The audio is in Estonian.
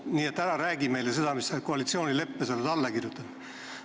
Nii et ära räägi meile seda, mis sa seal koalitsioonileppes oled alla kirjutanud.